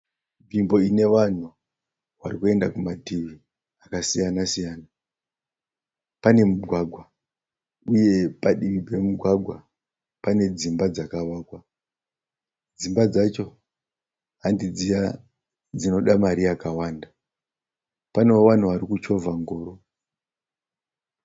Nzvimbo ine vanhu varikuenda mativi akasiyana siyana. Pane mugwagwa uye padivi pemugwagwa pane dzimba dzakavakwa. Dzimba dzacho handi dziya dzinoda mari yakawanda. Panewo vavhu vari kuchovha ngoro.